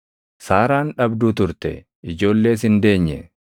Saaraan dhabduu turte; ijoollees hin deenye.